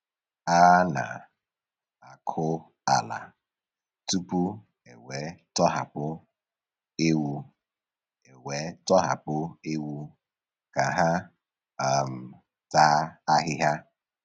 A na-akụ ala tupu ewe tọhapụ ewu ewe tọhapụ ewu ka ha um taa ahịhịa.